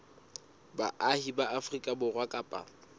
baahi ba afrika borwa kapa